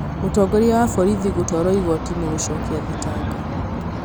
Mũtongoria wa borithi gũtwarwo igoti-inĩ gũcokia thitango